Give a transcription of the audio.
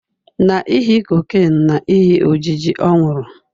Na ihi cocaine na ihi ojiji ọ nwụrụ